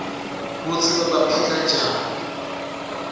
kutsi bebaphila njani